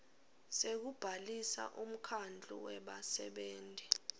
sekubhalisa umkhandlu webasebenti